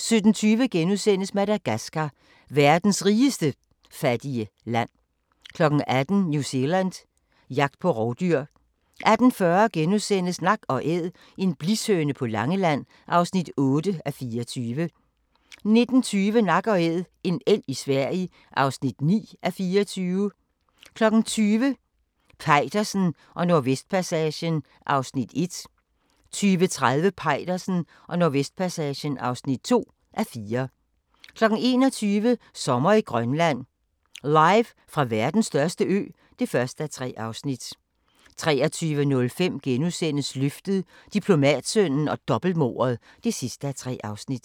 17:20: Madagascar – verdens rigeste fattige land * 18:00: New Zealand – jagt på rovdyr 18:40: Nak & æd - en blishøne på Langeland (8:24)* 19:20: Nak & Æd - en elg i Sverige (9:24) 20:00: Peitersen og Nordvestpassagen (1:4) 20:30: Peitersen og Nordvestpassagen (2:4) 21:00: Sommer i Grønland – Live fra verdens største ø (1:3) 23:05: Løftet - Diplomatsønnen og dobbeltmordet (3:3)*